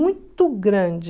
Muito grande.